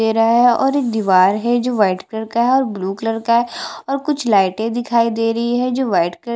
दे रहा है और एक दीवार है जो व्हाईट कलर का है और ब्लू कलर का है और कुछ लाइटे दिखाई दे रही है जो व्हाईट कलर --